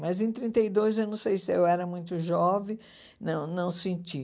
Mas em trinta e dois, eu não sei se eu era muito jovem, não não senti.